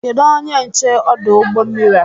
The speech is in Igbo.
Kedụ onye nche ọdụ ụgbọ mmiri a?